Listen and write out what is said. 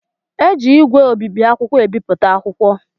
Eji ígwè obibi akwụkwọ ebipụta akwụkwọ